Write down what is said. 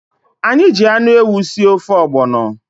Anyị ji anụ ewu sie ofe ọgbọnọ.